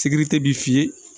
Sikiri tɛ bilen